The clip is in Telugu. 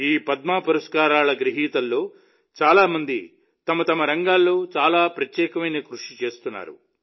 ఈ పద్మ పురస్కార గ్రహీతల్లో చాలా మంది తమ తమ రంగాల్లో చాలా ప్రత్యేకమైన కృషి చేస్తున్నారు